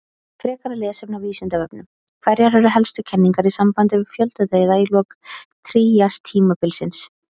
Frekara lesefni á Vísindavefnum: Hverjar eru helstu kenningar í sambandi við fjöldadauða í lok tríastímabilsins?